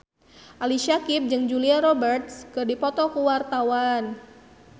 Ali Syakieb jeung Julia Robert keur dipoto ku wartawan